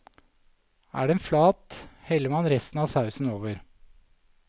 Er den flat, heller man resten av sausen over.